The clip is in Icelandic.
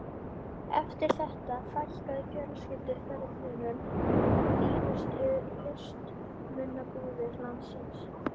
Eftir þetta fækkaði fjölskylduferðunum í fínustu listmunabúðir landsins.